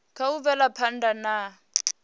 kha u bvela phanda na